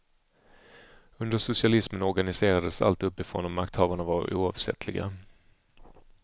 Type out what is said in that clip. Under socialismen organiserades allt uppifrån och makthavarna var oavsättliga.